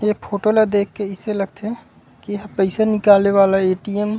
एक फोटो ला देख अइसे लगथे की एहा पईसा निकाले वाला एटीएम ए।